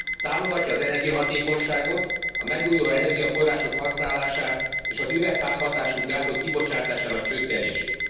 Támogatja az energiahatékonyságot, a megújuló energiaforrások használatát, és az üvegházhatású gázok kibocsátásának csökkentését.